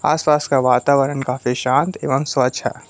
आसपास का वातावरण काफी शांत एवं स्वच्छ है।